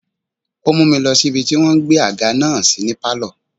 Ó mú mi lọ sí ibi tí wọ́n gbé àga náà sí ní pálọ̀.